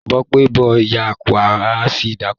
Bó pẹ́, bó yá, wà á ṣì dáko.